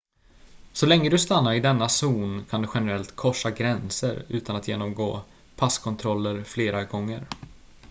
så länge du stannar i denna zon kan du generellt korsa gränser utan att genomgå passkontroller fler gånger